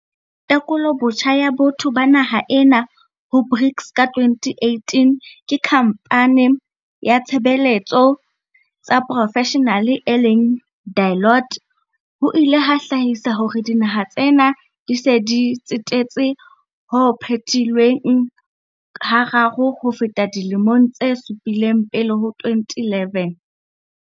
Tekolobotjha ya botho ba naha ena ho BRICS ka 2018 ke khampane ya tshebe letso tsa profeshenale e leng Deloitte, ho ile ha hlahisa hore dinaha tsena di se di tsetetse ho phetilweng hararo ho feta dilemong tse supileng pele ho 2011.